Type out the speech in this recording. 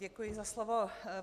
Děkuji za slovo.